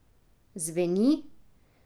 Zveni?